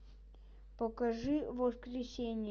покажи воскресение